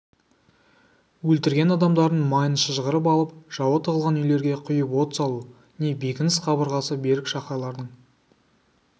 өлтірген адамдарының майын шыжғырып алып жауы тығылған үйлерге құйып от салу не бекініс қабырғасы берік шаһарлардың